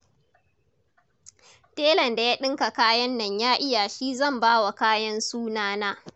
Telan da ya ɗinka kayan nan ya iya shi zan ba wa kayan sunana.